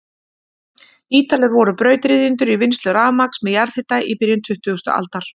Ítalir voru brautryðjendur í vinnslu rafmagns með jarðhita í byrjun tuttugustu aldar.